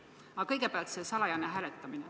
Aga kõigepealt see salajane hääletamine.